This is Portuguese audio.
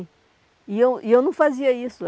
E eu e eu não fazia isso.